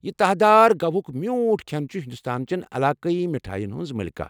یہِ تہہ دار گواہٗك میوُٹھ كھین چھِ ہندوستان چین علاقٲیی مٹھایَن ہِنٛز ملکہ۔